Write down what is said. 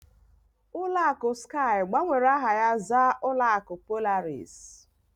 Ụlọ akụ Skype gbanwere aha ha zaa ụlọ akụ Polaris.